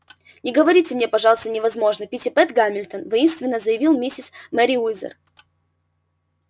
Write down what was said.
не говорите мне пожалуйста невозможно питтипэт гамильтон воинственно заявила миссис мерриуэзер